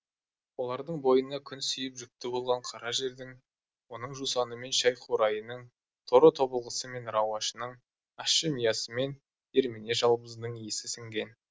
олардың бойына күн сүйіп жүкті болған қара жердің оның жусаны мен шәй қурайының торы тобылғысы мен рауашының ащы миясы мен дермене жалбызының исі сіңген